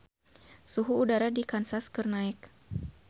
Suhu udara di Kansas keur naek